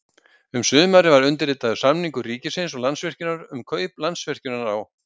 Um sumarið var undirritaður samningur ríkisins og Landsvirkjunar um kaup Landsvirkjunar á